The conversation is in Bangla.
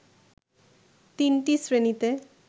তিনটি শ্রেণিতে